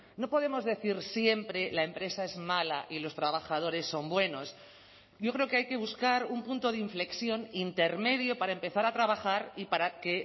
no podemos decir siempre la empresa es mala y los trabajadores son buenos yo creo que hay que buscar un punto de inflexión intermedio para empezar a trabajar y para que